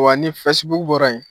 Wa ni fɛsibuku bɔra yen